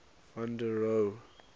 van der rohe